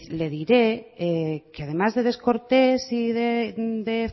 le diré que además de descortés y de